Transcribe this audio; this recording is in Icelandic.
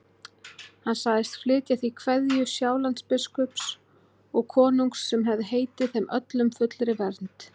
Hann sagðist flytja því kveðju Sjálandsbiskups og konungs sem hefði heitið þeim öllum fullri vernd.